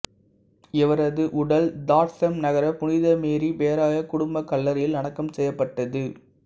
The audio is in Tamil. இவரது உடல் தாட்சம் நகர புனித மேரி பேராயக் குடும்பக் கல்லறையில் அடக்கம் செய்யப்பட்டது